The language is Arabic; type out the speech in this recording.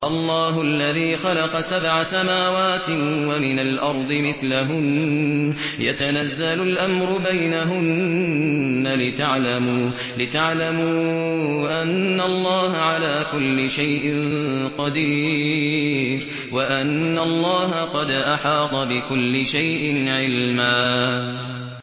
اللَّهُ الَّذِي خَلَقَ سَبْعَ سَمَاوَاتٍ وَمِنَ الْأَرْضِ مِثْلَهُنَّ يَتَنَزَّلُ الْأَمْرُ بَيْنَهُنَّ لِتَعْلَمُوا أَنَّ اللَّهَ عَلَىٰ كُلِّ شَيْءٍ قَدِيرٌ وَأَنَّ اللَّهَ قَدْ أَحَاطَ بِكُلِّ شَيْءٍ عِلْمًا